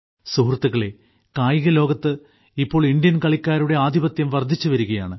സുഹൃത്തുക്കളെ കായികലോകത്ത് ഇപ്പോൾ ഇന്ത്യൻ കളിക്കാരുടെ ആധിപത്യം വർധിച്ചു വരികയാണ്